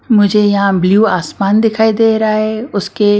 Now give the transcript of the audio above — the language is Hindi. मुझे यहां ब्लू आसमान दिखाई दे रहा है उसके--